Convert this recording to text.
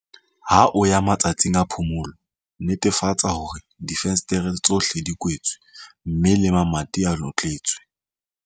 Ha o ya matsatsing a phomolo, netefatsa hore difenstere tsohle di kwetswe mme le mamati a notletswe.